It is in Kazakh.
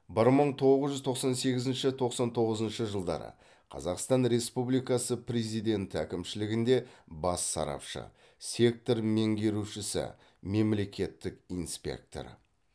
бір мың тоғыз жүз тоқсан сегізінші тоқсан тоғызыншы жылдары қазақстан республикасы президенті әкімшілігінде бас сарапшы сектор меңгерушісі мемлекеттік инспектор